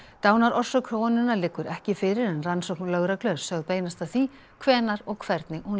dánarorsök konunnar liggur ekki fyrir en rannsókn lögreglu er sögð beinast að því hvenær og hvernig hún